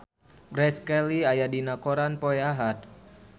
Grace Kelly aya dina koran poe Ahad